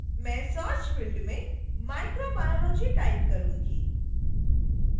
मैं search field में microbiology type करूंगी